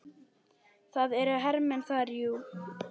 Það eru hermenn þar, jú.